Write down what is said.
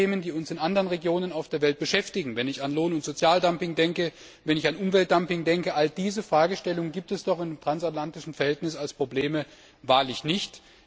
Denn viele Themen, die uns in anderen Regionen auf der Welt beschäftigen wenn ich an Lohn und Sozialdumping denke, wenn ich an Umweltdumping denke all diese Fragestellungen gibt es doch im transatlantischen Verhältnis als Probleme wahrlich nicht.